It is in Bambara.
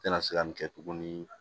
Tɛna se ka nin kɛ tuguni